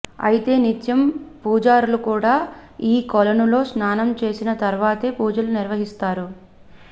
అయితే నిత్యం పూజారులు కూడా ఈ కొలనులో స్నానం చేసిన తర్వాతే పూజలు నిర్వహిస్తారు